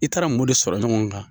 I taara mun de sɔrɔ ɲɔgɔn kan.